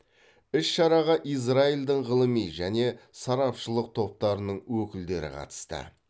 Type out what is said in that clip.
іс шараға израильдің ғылыми және сарапшылық топтарының өкілдері қатысты